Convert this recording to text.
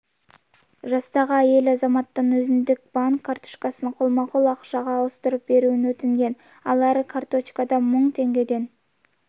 жастағы әйел азаматтан өзіндегі банк карточкасын қолма-қол ақшаға ауыстырып беруін өтінген ал әр карточкада мың теңгеден